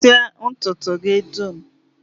Kpụsịa ntụtụ gị dum!